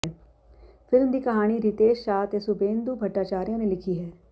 film ਦੀ ਕਹਾਣੀ ਰਿਤੇਸ਼ ਸ਼ਾਹ ਤੇ ਸ਼ੁਭੇਂਦੁ ਭੱਟਾਚਾਰੀਆ ਨੇ ਲਿਖੀ ਹੈ